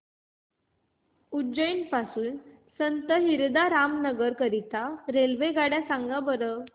उज्जैन पासून संत हिरदाराम नगर करीता रेल्वेगाड्या सांगा बरं